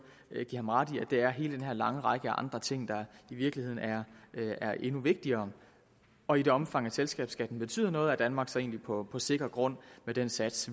give ham ret i det er hele den her lange række af andre ting der i virkeligheden er endnu vigtigere og i det omfang at selskabsskatten betyder noget er danmark så egentlig på sikker grund med den sats